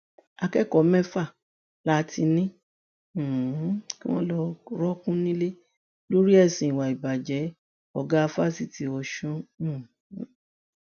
akẹkọọ mẹfà la ti ní um kí wọn lọọ rọọkùn nílẹ lórí ẹsùn ìwà ìbàjẹ ọgá fáṣítì ọsùn um